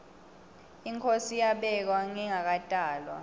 inkhosi yabekwa ngingakatalwa